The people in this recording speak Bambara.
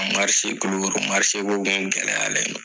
Kulikoro ko tun gɛlɛyalen don